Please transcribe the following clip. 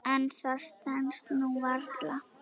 En það stenst nú varla.